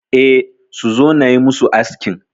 E, suzo nayi musu askin